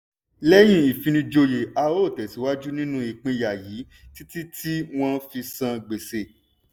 lẹ́yìn ìfinijòyè a ó tẹ̀sìwájú nínú ìpínyà yìí títí tí wọ́n fi san gbèsè.